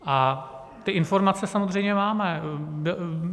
A ty informace samozřejmě máme.